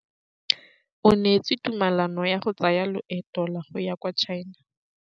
O neetswe tumalanô ya go tsaya loetô la go ya kwa China.